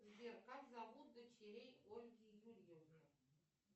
сбер как зовут дочерей ольги юрьевны